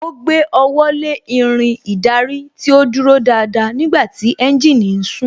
Ó gbé ọwọ́ lé Irin ìdarí tí ó dúró dáadáa nígbàtí tí ẹ́ńjìnì ń sún